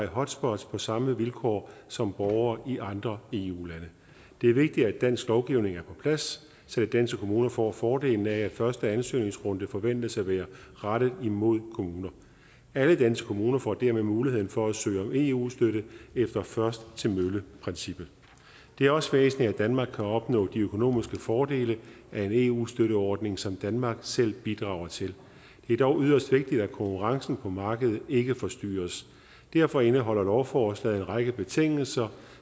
hotspots på samme vilkår som borgere i andre eu lande det er vigtigt at dansk lovgivning er på plads så danske kommuner får fordelen af at første ansøgningsrunde forventes at være rettet imod kommuner alle danske kommuner får dermed muligheden for at søge om eu støtte efter først til mølle princippet det er også væsentligt at danmark kan opnå de økonomiske fordele af en eu støtteordning som danmark selv bidrager til det er dog yderst vigtigt at konkurrencen på markedet ikke forstyrres derfor indeholder lovforslaget en række betingelser